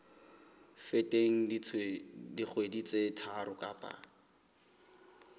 feteng dikgwedi tse tharo kapa